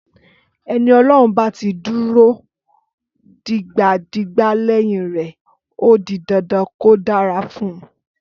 Ẹni Ọlọ́run bá ti dúró digbadigba lẹ́yìn rẹ̀ ó di dandan kó dára fún un.